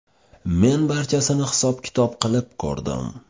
Men barchasini hisob-kitob qilib ko‘rdim.